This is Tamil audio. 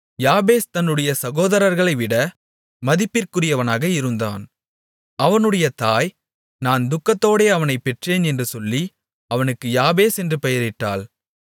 யாபேஸ் தன்னுடைய சகோதரர்களைவிட மதிப்பிற்குரியவனாக இருந்தான் அவனுடைய தாய் நான் துக்கத்தோடே அவனைப் பெற்றேன் என்று சொல்லி அவனுக்கு யாபேஸ் என்று பெயரிட்டாள்